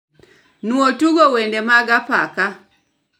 Nuo tugo wende mag apaka